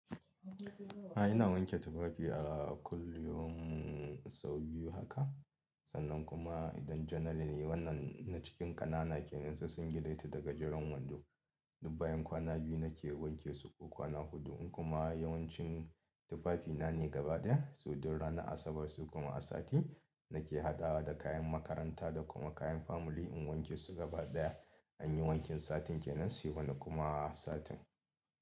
Ai ina wanke tufafi a kullum sau biyu haka, sannan kuma idan janar ne wannan na cikin ƙanana kenan su sun gile ti da gajeran wando. Duk bayan kwana biyu nake wanke su ko kwana huɗu in kuma yawancin tufafina ne gaba ɗaya, su duk ranar Asabar su kuma a sati nake haɗawa da kayan makaranta da kuma kayan famili in wanke su gaba ɗaya. An yi wankin satin kenan sai wani kuma satin.